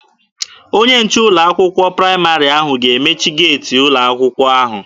Onye nche ụlọ akwụkwọ praịmarị ahụ ga-emechi geeti ụlọ akwụkwọ ahụ.